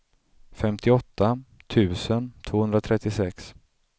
femtioåtta tusen tvåhundratrettiosex